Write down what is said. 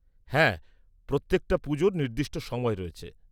-হ্যাঁ প্রত্যেকটা পুজোর নির্দিষ্ট সময় রয়েছে।